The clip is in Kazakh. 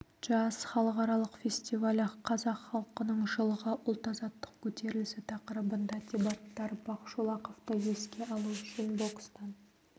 джаз халықаралық фестивалі қазақ халқының жылғы ұлт азаттық көтерілісі тақырыбында дебаттар бақшолақовты еске алу үшін бокстан